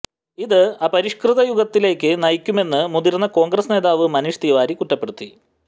ഇത് അപരിഷ്കൃത യുഗത്തിലേക്ക് നയിക്കുമെന്ന് മുതിര്ന്ന കോണ്ഗ്രസ് നേതാവ് മനീഷ് തിവാരി കുറ്റപ്പെടുത്തി